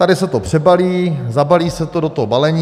Tady se to přebalí, zabalí se to do toho balení.